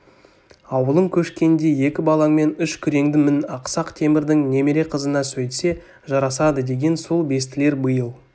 аулың көшкенде екі балаңмен үш күреңді мін ақсақ темірдің немере қызына сөйтсе жарасадыдеген сол бестілер биыл